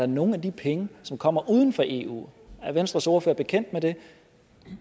nogen af de penge som kommer fra uden for eu er venstres ordfører bekendt med det